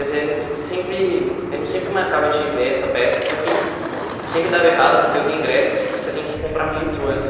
Quer dizer, sempre a gente sempre marcava de ver essa peça, só que sempre dava errado, porque os ingressos você tem que comprar muito antes.